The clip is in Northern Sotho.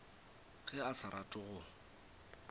ge a sa rate go